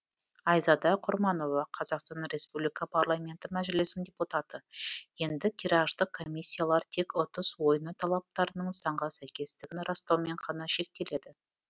айзада құрманова қазақстан республика парламенті мәжілісінің депутаты енді тираждық комиссиялар тек ұтыс ойыны талаптарының заңға сәйкестігін растаумен ғана шектеледі